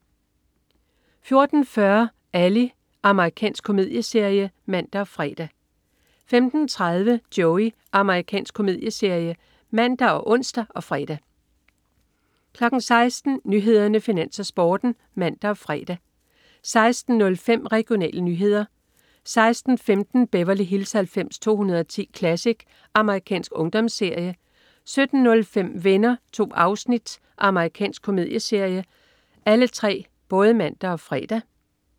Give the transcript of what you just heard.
14.40 Ally. Amerikansk komedieserie (man og fre) 15.30 Joey. Amerikansk komedieserie (man og ons og fre) 16.00 Nyhederne, Finans, Sporten (man og fre) 16.05 Regionale nyheder (man-fre) 16.15 Beverly Hills 90210 Classic. Amerikansk ungdomsserie (man og fre) 17.05 Venner. 2 afsnit. Amerikansk komedieserie (man-fre)